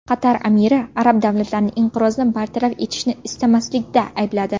Qatar amiri arab davlatlarini inqirozni bartaraf etishni istamaslikda aybladi.